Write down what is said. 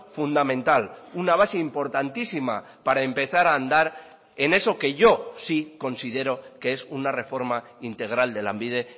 fundamental una base importantísima para empezar a andar en eso que yo sí considero que es una reforma integral de lanbide